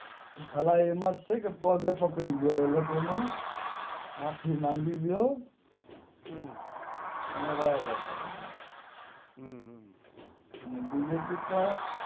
અલા એમાં તો ઠીક પગેય પકડી ગયો એ લોકો નો માફી માંગી લ્યો અને વાયા જાવ અને બીજેપી પણ